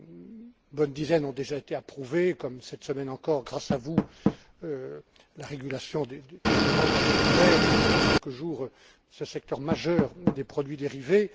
Une bonne dizaine ont déjà été approuvés, comme cette semaine encore, grâce à vous, la régulation des ventes à découvert et, dans quelques jours, ce secteur majeur des produits dérivés.